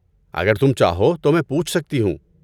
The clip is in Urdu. اگر تم چاہو تو میں پوچھ سکتی ہوں۔